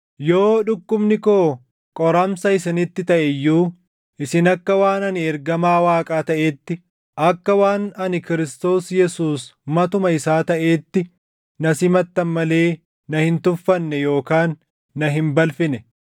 yoo dhukkubni koo qoramsa isinitti taʼe iyyuu, isin akka waan ani ergamaa Waaqaa taʼeetti, akka waan ani Kiristoos Yesuus matuma isaa taʼeetti na simattan malee na hin tuffanne yookaan na hin balfine.